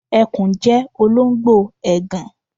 Ẹkùn jẹ́ olóńgbò ègàn.